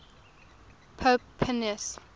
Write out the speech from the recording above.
pope pius